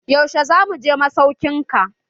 Yaushe zamu je masaukin ka?